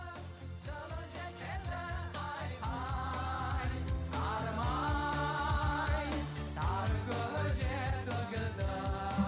жылы жел келді ай хай сары май тары көже төгілді ай